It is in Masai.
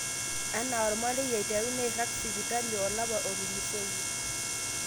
Ana omarei aiteru neirag sipitani olapa otulusoyie